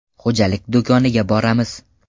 Xo‘jalik do‘koniga boramiz.